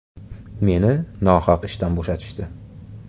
“Meni nohaq ishdan bo‘shatishdi”.